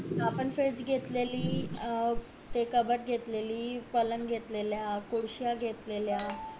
आपण घेतलेली अं ते कपाट घेतलेली पलंग घेतातलेला खुर्ची घेतलेल्या